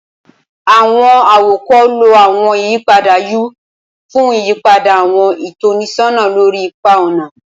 Awọn awakọ lo awọn iyipada U fun iyipada awọn itọnisọna lori ipa ọna.